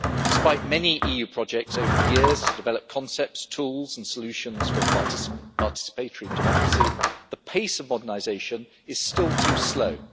Despite many EU projects over the years to develop concepts, tools and solutions for participatory democracy, the pace of modernisation is still too slow.